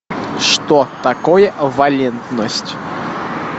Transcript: что такое валентность